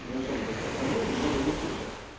не особо такая проблема но в любом случае